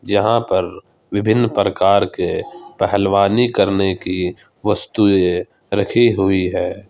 यहां पर विभिन्न प्रकार के पहलवानी करने की वस्तुएं रखी हुई है।